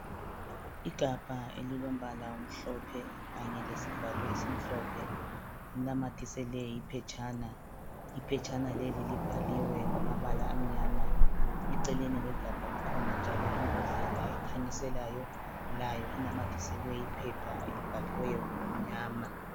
Igabha elilombala omhlophe kanye lesivalo esimhlophe, kunanyathiselwe iphetshana, iphetshana leli libhaliwe ngamabala amnyama. Eceleni kwegabha kukhona njalo imbodlelaa ekhanyiselayo layo inanyathiselwe iphepha elibhaliweyo ngokumnyama.